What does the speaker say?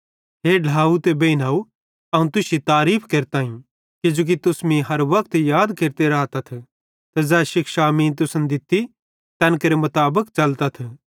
हे ढ्लाव ते बेइनव अवं तुश्शी तारीफ़ केरताईं किजोकि तुस मीं हर वक्त याद केरते रातथ ते ज़ै शिक्षां मीं तुसन दित्ती तैन केरे मुताबिक च़लतथ